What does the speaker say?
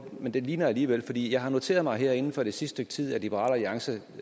men det ligner alligevel jeg har noteret mig at her inden for det sidste stykke tid har liberal alliance